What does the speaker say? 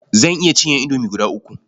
Zan iya cinye indomi guda uku.